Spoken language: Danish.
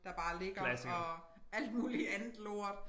Der bare ligger og alt muligt andet lort